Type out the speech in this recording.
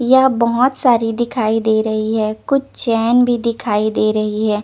यह बहोत साडी दिखाई दे रही हे कुछ चेन भी दिखाई दे रही हे ।